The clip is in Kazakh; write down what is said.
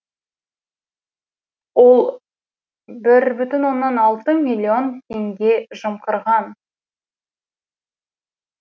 ол бір бүтін оннан алты миллион теңге жымқырған